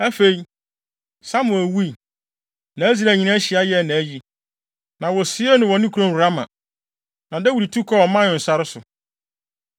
Afei, Samuel wui, na Israel nyinaa hyia yɛɛ nʼayi. Na wosiee no wɔ ne kurom Rama. Na Dawid tu kɔɔ Maon sare so.